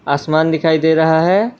आसमान दिखाई दे रहा है।